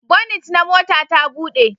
Bonit na mota ta buɗe